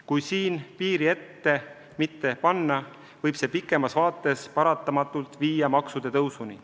Kui siin piiri ette mitte panna, võib see tulevikus paratamatult viia maksude tõusuni.